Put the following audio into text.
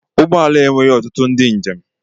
Ụgbọ ala a enweghị ọtụtụ ndị njem.